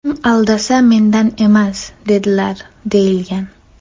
Kim aldasa, mendan emas!” dedilar», deyilgan.